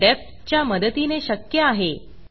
हे deffडेफ्फ च्या मदतीने शक्य आहे